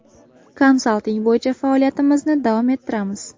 Konsalting bo‘yicha faoliyatimizni davom ettiramiz.